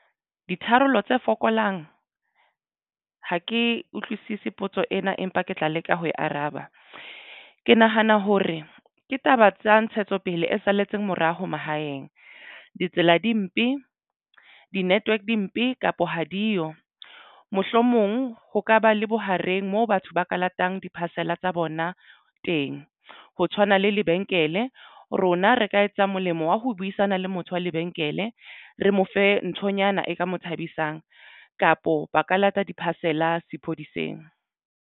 Ditharollo tse fokolang ha ke utlwisisi potso ena empa ke tla leka ho e araba. Ke nahana hore ke taba tsa ntshetsopele e salletseng morao ho mahaeng. Ditsela di mpe di network di mpe kapa ha diyo. Mohlomong ho ka ba le bohareng moo batho ba ka latang di-parcel tsa bona teng. Ho tshwana le lebenkele e rona re ka etsa molemo wa ho buisana le motho wa lebenkele re mo fe nthonyana e ka mo thabisang kapo ba ka lata di-parcel a sepoleseng.